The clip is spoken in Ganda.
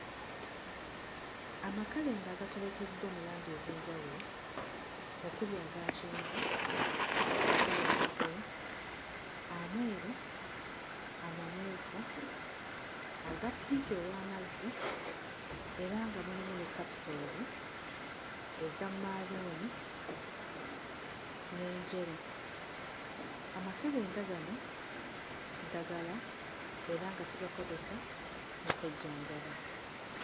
Amakerenda agaterekeddwa mu langi ez'enjawulo okuli aga kyenvu, okuli aga bbulu, ameeru, amamyufu, aga ppinki ow'amazzi, era nga mulimu ne capsules eza maroon, n'enjeru. Amakerenda gano ddagala era nga tugakozesa okwejjanjaba.